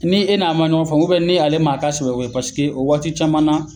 Ni e n'a man ɲɔgɔn faamu ni ale man a ta pasike o waati caman na